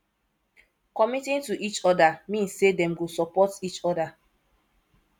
committing to each other mean say dem go support each other